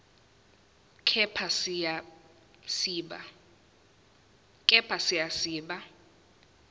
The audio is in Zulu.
kepha siya siba